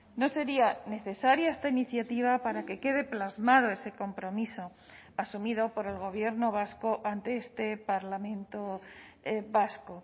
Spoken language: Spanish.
no sería necesaria esta iniciativa para que quede plasmado ese compromiso asumido por el gobierno vasco ante este parlamento vasco